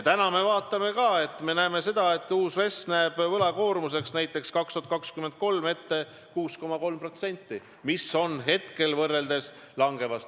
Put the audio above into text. Täna me näeme, et uus RES näeb võlakoormuseks näiteks 2023. aastal ette 6,3%, see tendents on langev.